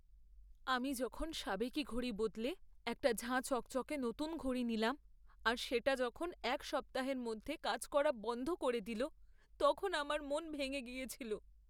আমি যখন সাবেকি ঘড়ি বদলে একটা ঝাঁ চকচকে নতুন ঘড়ি নিলাম, আর সেটা যখন এক সপ্তাহের মধ্যে কাজ করা বন্ধ করে দিল তখন আমার মন ভেঙে গিয়েছিল।